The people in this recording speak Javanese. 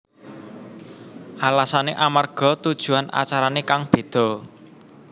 Alasané amarga tujuan acarané kang béda